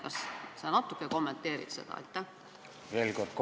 Kas sa natuke kommenteeriksid seda?